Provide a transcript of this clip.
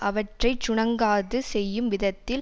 அவற்றை சுணங்காது செய்யும் விதத்தில்